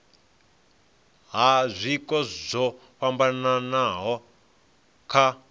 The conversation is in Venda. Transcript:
ha zwiko zwo fhambanaho kha